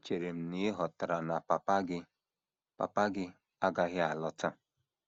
Echere m na ị ghọtara na papa gị papa gị agaghị alọta.